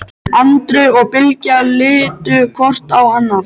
Andri og Bylgja litu hvort á annað.